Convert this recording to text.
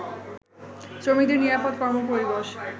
শ্রমিকদের নিরাপদ কর্মপরিবেশ